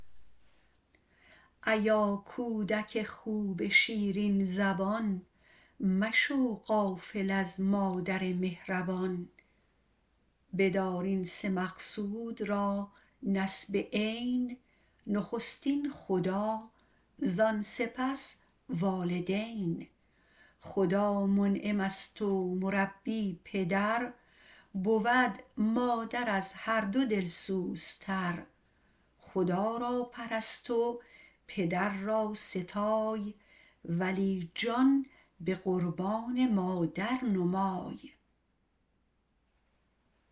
ایا کودک خوب شیرین زبان مشو غافل از مادر مهربان بدار این سه مقصود را نصب عین نخستین خدا زان سپس والدین خدا منعم است و مربی پدر بود مادر از هر دو دلسوزتر خدا را پرست و پدر را ستای ولی جان به قربان مادر نمای